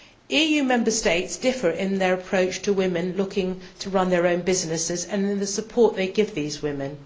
EU Member States differ in their approach to women looking to run their own businesses and in the support they give these women.